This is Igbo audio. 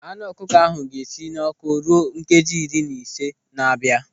Anụ ọkụkọ ahụ ga-esi n'ọ́kụ́ ruo nkeji iri na ise na-abịa.